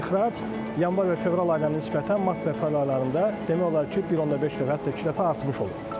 Və ixrac yanvar və fevral aylarına nisbətən mart və aprel aylarında demək olar ki, 1.5 dəfə, hətta iki dəfə artmış olur.